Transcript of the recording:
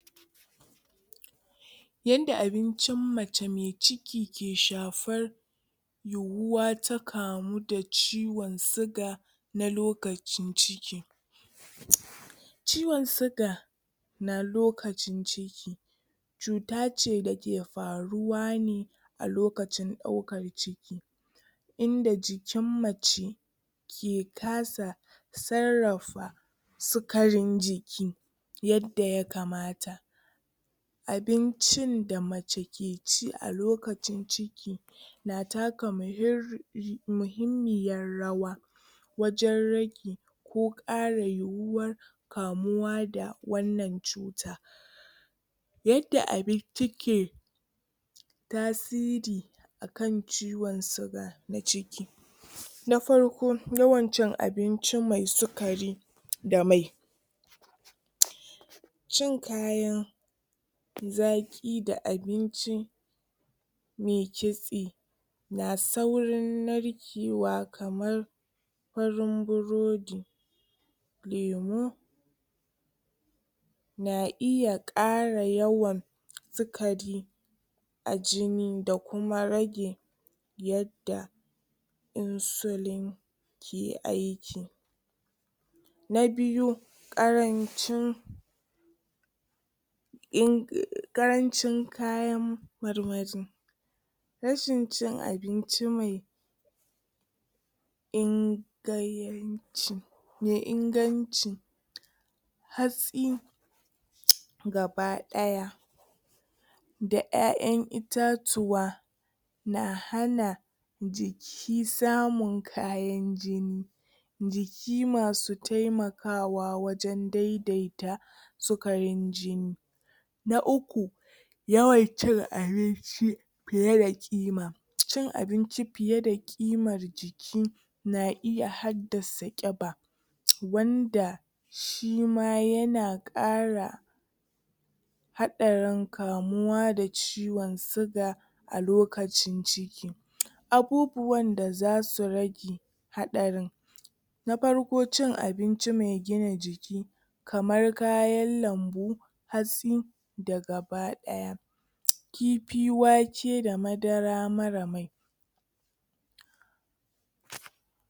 Yanda abincin mace me ciki ke shafar yiwuwa ta kamu da ciwon siga na lokacin ciki. Ciwon siga na lokacin ciki cuta ce da ke faruwa ne a lokacin ɗaukan ciki. Inda jikin mace ke kasa sarrafa sukarin jiki yadda ya kamata. Abincin da mace ke ci a lokacin ciki na taka muhir muhimmiyar rawa wajen ko ƙara yiwuwar kamuwa da wannan cuta. Yadda abinci ke tasiri kan ciwon siga na ciki; Na farko, yawan cin abinci mai sukari da mai cin kayan zaƙi da abinci me kitse na saurin narkewa kamar farin burodi, lemu, na iya ƙara yawan sikari a jini da kuma rage yadda insulin Na biyu ƙarancin in ƙarancin kayan marmari rashin cin abinci mai in gai ci mai inganci hatsi, gaba-ɗaya da ƴaƴan itaciya na hana ji i samun kayan jini jiki masu taimakawa wajen dai-daita sukarin jini. Na uku, yawan cin abinci fiye da ƙima cikin abinci fiye da ƙimar ki na iya haddasa guba wanda shima ya na ƙara haɗarin kamuwa da ciwon siga a lokacin ci Abubuwan da za su rage haɗarin Na farko cin abinci mai gina jiki kamar kayan lambu, hatsi, da gaba-ɗaya kifi, wake da madara marar mai.